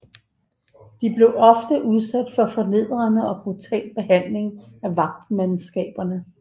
De blev ofte udsat for fornedrende og brutal behandling af vagtmandskaberne